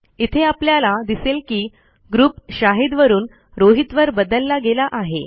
इथे आपल्याला दिसेल की ग्रुप शाहीद वरून रोहितवर बदलला गेला आहे